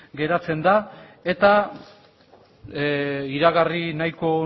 geratzen da eta iragarri nahiko